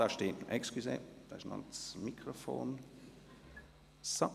Entschuldigen Sie, hier ist noch das Mikrofon ...